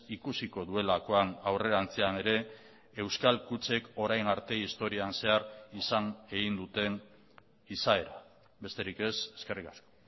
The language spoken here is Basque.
ikusiko duelakoan aurrerantzean ere euskal kutxek orain arte historian zehar izan egin duten izaera besterik ez eskerrik asko